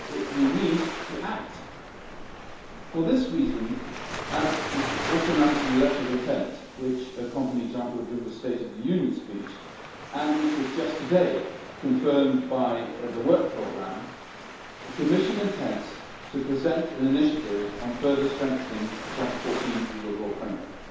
We need to act. For this reason, as was also announced in the letter of intent which accompanied Jean Claude Juncker's State of the Union speech and which was just today confirmed by the Work Programme, the Commission intends to present an initiative on further strengthening the 2014 Rule of Law framework.